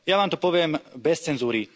Ja vám to poviem bez cenzúry.